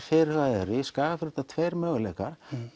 fyrirhugaðar í Skagafirði eru þetta tveir möguleikar